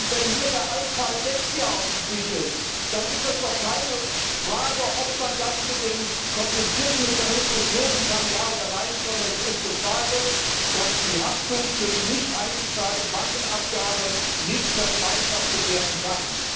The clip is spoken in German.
Und wenn hier der Altfall Dexia auf dem Tisch ist, dann ist doch nicht die Frage, ob man das mit dem komplizierten Mechanismus lösen kann, ja oder nein, sondern es ist die Frage, ob die Haftung für die nichteingezahlte Bankenabgabe nicht vergemeinschaftet werden kann.